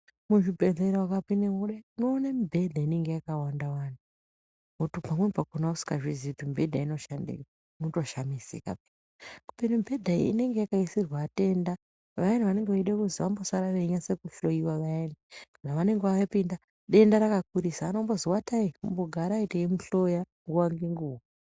Muzvibhedhlera ukapindemo kudai unoona mibhedha inenge yakawanda wanda kana kwamwabva musingazvizii kuti mibhedha inoshandei unotoshamisika kubeni mibhedha iyi inenge yakaisirwa vatenda vayana vanenge veide kuzi vambosara venyase kuhloiwa vayani zvavanenge vapinda denda rakakurisa anombozi watai umbogarai teimuhloya nguwa ngenguwa.